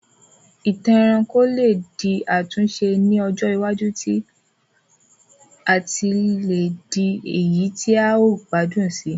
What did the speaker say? Ìtàn ẹranko lé di àtúnse ni ọjọ iwájú láti le di èyí ti a o gbádùn sii